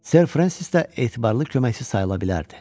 Ser Françis də etibarlı köməkçi sayıla bilərdi.